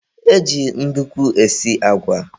E ji ndukwu esi agwa